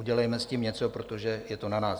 Udělejme s tím něco, protože je to na nás.